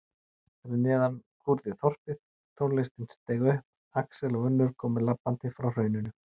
Fyrir neðan kúrði þorpið, tónlistin steig upp, Axel og Unnur komu labbandi frá hrauninu.